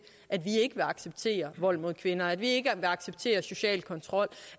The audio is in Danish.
at vi ikke vil acceptere vold mod kvinder at vi ikke vil acceptere social kontrol